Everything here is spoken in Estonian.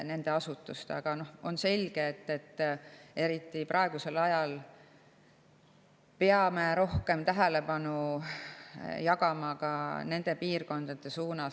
Aga on selge, et eriti praegusel ajal peame rohkem tähelepanu jagama ka nendele piirkondadele.